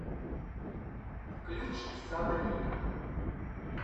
включи сабрина